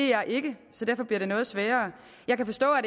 jeg ikke så derfor bliver det noget sværere jeg kan forstå at